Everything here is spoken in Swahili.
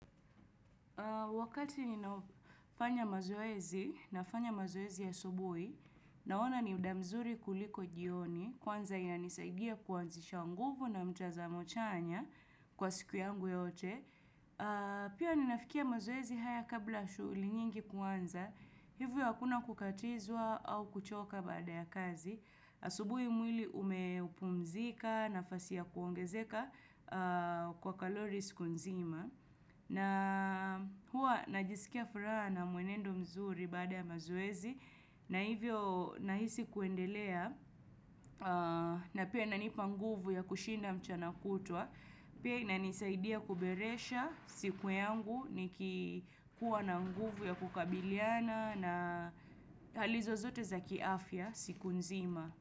Wakati ninafanya mazoezi, nafanya mazoezi ya asubuhi, naona ni muda mzuri kuliko jioni, kwanza inanisaidia kuanzisha nguvu na mtazamo chanya kwa siku yangu yote. Pia ninafikia mazoezi haya kabla shughuli nyingi kuanza, hivyo hakuna kukatizwa au kuchoka baada ya kazi. Asubuhi mwili umepumzika nafasi ya kuongezeka kwa kalori siku nzima. Na hua najisikia furaha na mwenendo mzuri baada ya mazoezi. Na hivyo nahisi kuendelea na pia inanipa nguvu ya kushinda mchana kutwa. Pia inanisaidia kuberesha siku yangu nikikuwa na nguvu ya kukabiliana na hali zozote za kiafya siku nzima.